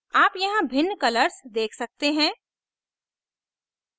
आप यहाँ भिन्न colors देख सकते हैं